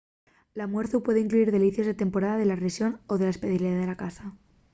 l’almuerzu puede incluyir delicies de temporada de la rexón o la especialidá de la casa